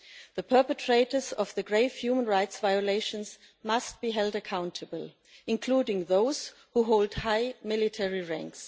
The perpetrators of the grave human rights violations in Myanmar must be held accountable, including those who hold high military rank.